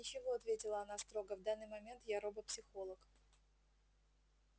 ничего ответила она строго в данный момент я робопсихолог